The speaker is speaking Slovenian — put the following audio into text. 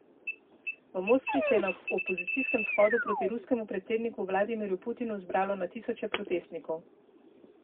V Moskvi se je na opozicijskem shodu proti ruskemu predsedniku Vladimirju Putinu zbralo na tisoče protestnikov.